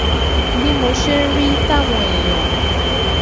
bí mo ṣe ń rí i táwọn èèyàn